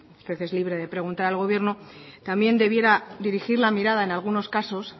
usted es libre de preguntar al gobierno también debiera dirigir la mirada en algunos casos